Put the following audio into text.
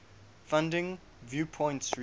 funding viewpoints research